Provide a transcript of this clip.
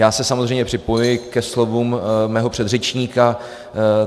Já se samozřejmě připojuji ke slovům svého předřečníka.